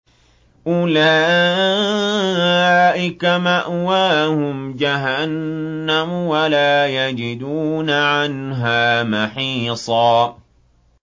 أُولَٰئِكَ مَأْوَاهُمْ جَهَنَّمُ وَلَا يَجِدُونَ عَنْهَا مَحِيصًا